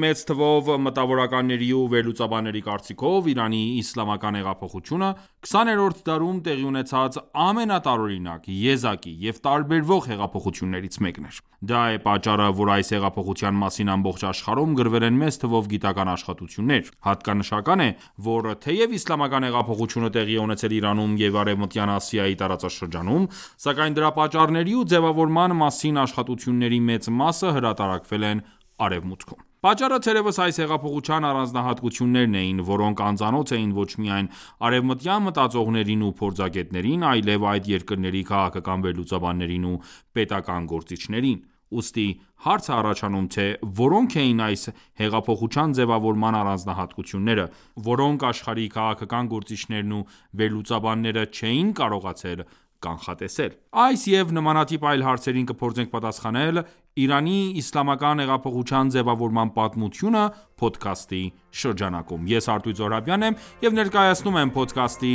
մեծ թվով մտավորականների ու վերլուծաբանների կարծիքով, Իրանի իսլամական հեղափոխությունը 20-րդ դարում տեղի ունեցած ամենատարօրինակ, եզակի և տարբերվող հեղափոխություններից մեկն էր։ Դա է պատճառը, որ այս հեղափոխության մասին ամբողջ աշխարհում գրվել են մեծ թվով գիտական աշխատություններ։ Հատկանշական է, որ թեև իսլամական հեղափոխությունը տեղի է ունեցել Իրանում և Արևմտյան Ասիայի տարածաշրջանում, սակայն դրա պատճառների ու ձևավորման մասին աշխատությունների մեծ մասը հրատարակավել են Արևմուտքում։ Պատճառը թերևս այս հեղափոխության առանձնահատկություններն էին, որոնք անծանոթ էին ոչ միայն արևմտյան մտածողներին ու փորձագետներին, այլև այդ երկրների քաղաքական վերլուծաբաններին ու պետական գործիչներին: Ուստի հարց է առաջանում, թե որոնք էին այս հեղափոխության ձևավորման առանձահատկությունները, որոնք աշխարհի քաղաքական գործիչներն ու վերլուծաբանները չէին կարողացել կանխատեսել։ Այս և նմանատիպ այլ հարցերին կփորձենք պատասխանել «Իրանի իսլամական հեղափոխության ձևավորման պատմությունը» փոդքասթի շրջանակում։ Ես ---- եմ և ներկայացնում եմ փոդքասթի